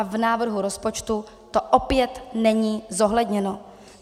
A v návrhu rozpočtu to opět není zohledněno.